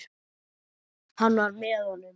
Hann var með honum!